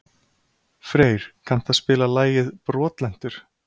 Freyr, kanntu að spila lagið „Brotlentur“?